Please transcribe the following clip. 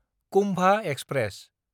Kumbha express